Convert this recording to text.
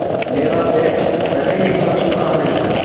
मेरा पेट पहले ही भर चुका है